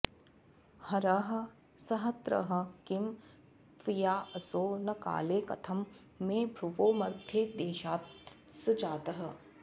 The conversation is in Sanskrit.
हरः संहृतः किं त्वयाऽसौ न काले कथं मे भ्रुवोर्मध्यदेशात्स जातः